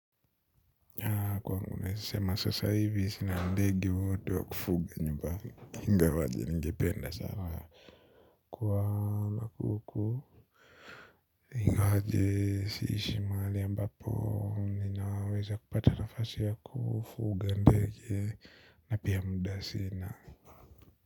Kwawangu nesema sasa hivi sina ndege wowote wa kufuga nyumbani ingawaje ningependa sanaa. Kwa makuku ingawaje siishi maali ambapo ninaweza kupata nafasi ya kufuga ndege na pia muda sina.